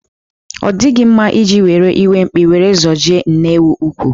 Ọ dịghị mma iji iwe mkpi were zojie nne ewu úkwú.